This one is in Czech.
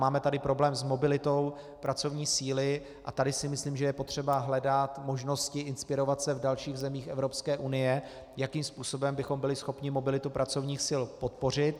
Máme tady problém s mobilitou pracovní síly a tady si myslím, že je potřeba hledat možnosti inspirovat se v dalších zemích Evropské unie, jakým způsobem bychom byli schopni mobilitu pracovních sil podpořit.